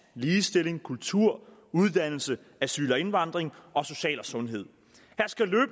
ligestilling kultur uddannelse asyl og indvandring og social og sundhed